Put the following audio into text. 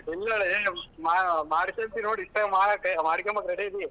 ಇಲ್ಲಲೆ ಮಾ~ ಮಾಡ್ಕಂತೀನ್ ನೋಡ್ ಇಷ್ಟಲ್ಲೇ ಮಾಡ್ಕನಕ ready . ಇದಿ.